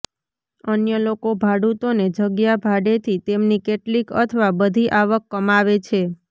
અન્ય લોકો ભાડૂતોને જગ્યા ભાડેથી તેમની કેટલીક અથવા બધી આવક કમાવે છે